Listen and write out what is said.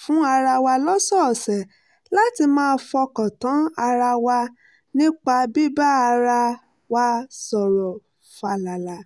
fún ara wa lọ́sọ̀ọ̀sẹ̀ láti máa fọkàn tán ara wa nípa bíbá ara wa sọ̀rọ̀ fàlàlà